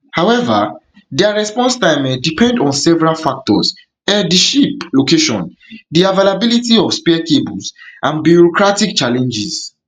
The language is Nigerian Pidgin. however dia response time um depend on several factors um di ship location di availability of of spare cables and bureaucratic challenges